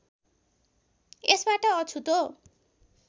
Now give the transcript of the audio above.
यसबाट अछुतो